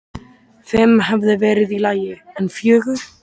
Fimm hefði verið í lagi, en fjögur?!?!?